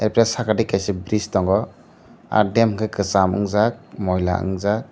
arpore saka digi bris tongo ah dam enke kcham unjak moila nangjak.